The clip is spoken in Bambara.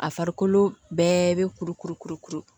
A farikolo bɛɛ bɛ kuru kuru kuru kuru kuru